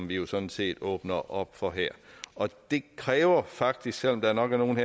vi jo sådan set åbner op for her det kræver faktisk selv om der nok er nogle